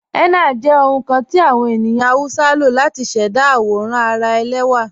Henna jẹ ohun kan ti awọn ènìyàn Hausa ló látì ṣẹda awòràn ara èlẹwa.